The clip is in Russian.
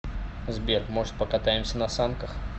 сбер может покатаемся на санках